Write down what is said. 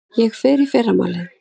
Ég fer í fyrramálið.